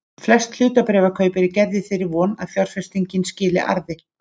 Flest hlutabréfakaup eru gerð í þeirri von að fjárfestingin skili arði.